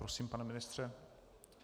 Prosím, pane ministře.